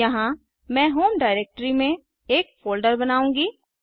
यहाँ मैं home directory में एक फोल्डर बनाऊँगा